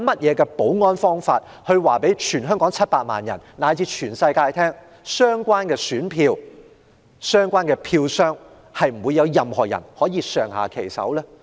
有何保安方法可讓全港700萬人以至全世界放心，知道相關選票及票箱不會遭人上下其手？